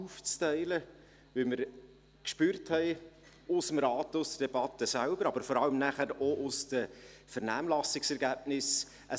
Dies, weil wir vonseiten des Rates, in der Debatte selbst, gespürt haben, aber vor allem auch aufgrund der Vernehmlassungsergebnisse: